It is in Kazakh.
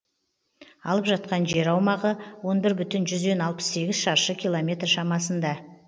алып жатқан жер аумағы он бір бүтін жүзден алпыс сегіз шаршы километр шамасында